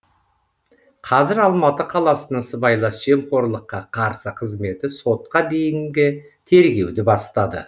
қазір алматы қаласының сыбайлас жемқорлыққа қарсы қызметі сотқа дейінгі тергеуді бастады